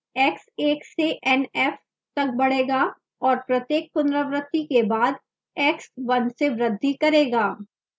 x एक से nf तक बढ़ेगा और प्रत्येक पुनरावृति के बाद x 1 से बृद्धि करेगा